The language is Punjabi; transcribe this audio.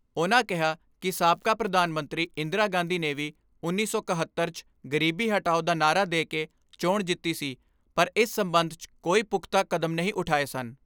ਉਨ੍ਹਾਂ ਕਿਹਾ ਕਿ ਸਾਬਕਾ ਪ੍ਰਧਾਨ ਮੰਤਰੀ ' ਇੰਦਰਾ ਗਾਂਧੀ ਨੇ ਵੀ ਉੱਨੀ ਸੌ ਇੱਕਹੱਤਰ 'ਚ ਗਰੀਬੀ ਹਟਾਓ ਦਾ ਨਾਅਰਾ ਦੇ ਕੇ ਚੋਣ ਜਿੱਤੀ ਸੀ ਪਰ ਇਸ ਸਬੰਧ 'ਚ ਕੋਈ ਪੁਖਤਾ ਕਦਮ ਨਹੀਂ ਉਠਾਏ ਸਨ।